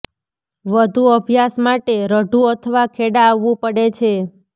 વધુ અભ્યાસ માટે રઢુ અથવા ખેડા આવવું પડે છે